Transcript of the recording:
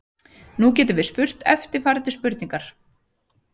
Nú getum við spurt eftirfarandi spurningar: